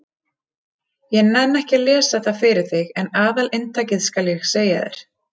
Ég nenni ekki að lesa það fyrir þig en aðalinntakið skal ég segja þér.